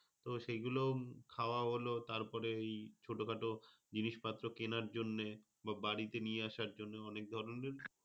তো সেই গুলো খাওয়া হলো। তারপরে ওই ছোটখাটো জিনিসপত্র কেনার জন্যে বা বাড়িতে নিয়ে আসার জন্য অনেক ধরনের,